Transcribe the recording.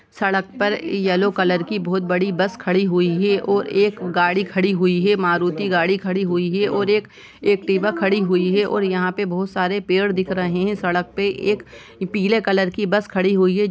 सड़क पर yellow colour की बहोत बड़ी बस खड़ी हुई हैं और एक गाड़ी खड़ी हुई हैं मारुति गाड़ी खड़ी हुई हैं और एक टीबा खड़ी हुई हैं और यहाँ पे बहुत सारे पेड़ दिख रहे हैं सड़क पे एक पीले कलर की बस खड़ी हुई हैं ।